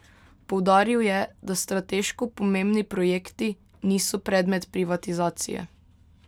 Poudaril je, da strateško pomembni projekti niso predmet privatizacije.